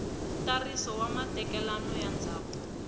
ntsariso wa matekanelo ya ndzhavuko